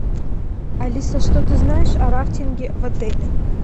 алиса что ты знаешь о рафтинге в отеле